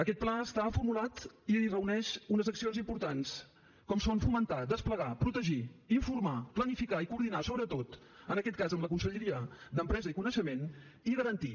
aquest pla està formulat i reuneix unes accions importants com són fomentar desplegar protegir informar planificar i coordinar sobretot en aquest cas amb la conselleria d’empresa i coneixement i garantir